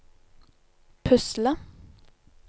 pusle